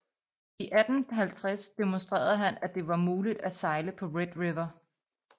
I 1850 demonstrerede han at det var muligt at sejle på Red River